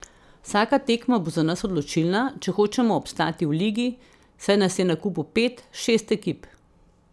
Vsaka tekma bo za nas odločilna, če hočemo obstati v ligi, saj nas je na kupu pet, šest ekip.